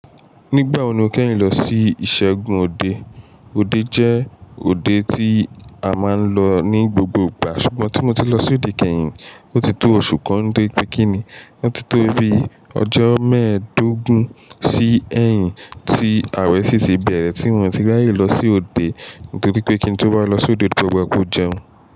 Nígbà wo ni o kẹ́yìn lọ sí ìṣẹ́gun òde? Òde jẹ́ òde tí a máa ń lọ ní gbogbo ìgbà, ṣùgbọ́n tí mo ti lọ sí òde kẹ́yìn, ó ti tó oṣù kan nítorí pé kí ni, ó ti tó bí ọjọ́ mẹ́ẹ̀dógún sí ẹyìn tí ààrẹ síṣí bẹ̀rẹ̀ tí mo ti ráyè lọ sí òde, nítorí pé kíni tó bá lọ sí òde tó gbà bó jẹun.